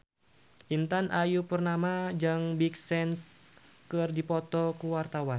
Intan Ayu Purnama jeung Big Sean keur dipoto ku wartawan